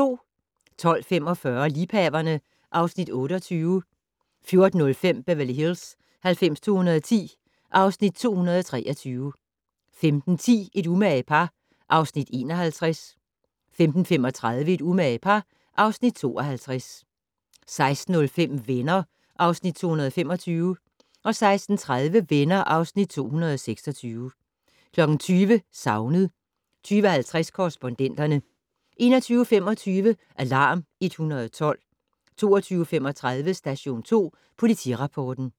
12:45: Liebhaverne (Afs. 28) 14:05: Beverly Hills 90210 (Afs. 223) 15:10: Et umage par (Afs. 51) 15:35: Et umage par (Afs. 52) 16:05: Venner (Afs. 225) 16:30: Venner (Afs. 226) 20:00: Savnet 20:50: Korrespondenterne 21:25: Alarm 112 22:35: Station 2 Politirapporten